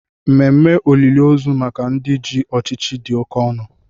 Ememe olili ozu maka ndị ji ọchịchị dị oke ọnụ